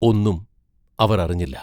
ഒന്നും അവർ അറിഞ്ഞില്ല.